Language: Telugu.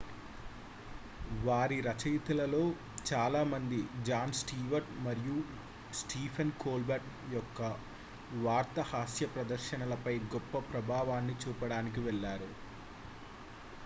వారి రచయితలలో చాలామంది జాన్ స్టీవర్ట్ మరియు స్టీఫెన్ కోల్బర్ట్ యొక్క వార్తా హాస్య ప్రదర్శనలపై గొప్ప ప్రభావాన్ని చూపడానికి వెళ్ళారు